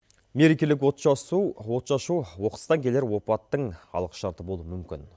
мерекелік отшашу оқыстан келер опаттың алғышарты болуы мүмкін